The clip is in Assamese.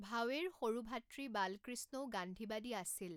ভাৱেৰ সৰু ভাতৃ বালকৃষ্ণও গান্ধীবাদী আছিল।